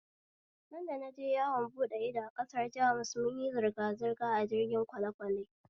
Sanda naje yawon buɗe ido ƙasar Jamus munyi zirgazirga a jirgin kwalekwale